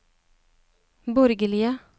borgerlige